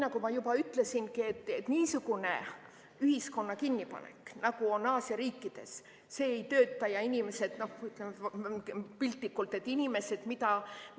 Nagu ma juba ütlesin, niisugune ühiskonna kinnipanek, nagu on Aasia riikides, see ei tööta.